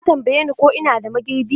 Ta tambaye ni ko ina da magirbi.